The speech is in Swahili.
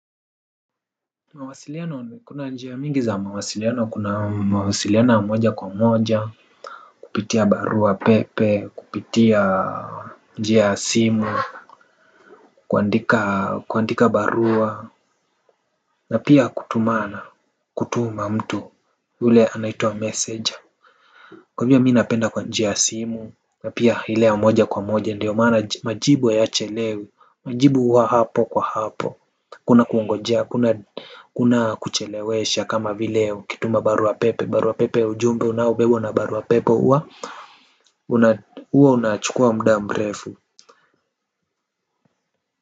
Mawasiliano kuna njia mingi za mawasiliano kuna mawasiliano ya moja kwa moja. Kupitia barua pepe kupitia njia ya simu kuandika kuandika barua. Na pia kutumana kutuma mtu ule anaitwa messenger. Kwa hivyo mi napenda kwa njia ya simu. Na pia ile ya moja kwa moja ndio maana majibu hayachelewi. Majibu huwa hapo kwa hapo. Kuna kuongojea, kuna kuchelewesha kama vileo ukituma barua pepe, barua pepe ujumbe unabebwa na barua pepe huwa huwa unachukua muda mrefu.